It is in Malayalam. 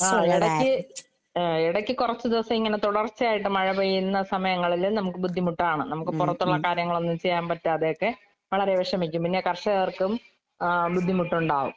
ആഹ് എടയ്ക്ക് ആഹ് എടയ്ക്ക് കൊറച്ച് ദെവസയിങ്ങനെ തൊടർച്ചയായിട്ട് മഴ പെയ്യുന്ന സമയങ്ങളില് നമക്ക് ബുദ്ധിമുട്ടാണ്. നമക്ക് പൊറത്തൊള്ള കാര്യങ്ങളൊന്നും ചെയ്യാമ്പറ്റാതെയൊക്കെ വളരെ വെഷമിക്കും. പിന്നെ കർഷകർക്കും ആഹ് ബുദ്ധിമുട്ടൊണ്ടാവും